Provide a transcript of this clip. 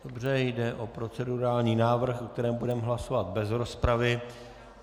Dobře, jde o procedurální návrh, o kterém budeme hlasovat bez rozpravy.